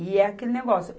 E é aquele negócio.